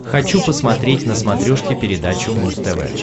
хочу посмотреть на смотрешке передачу муз тв